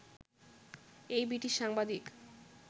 এই ব্রিটিশ সাংবাদিক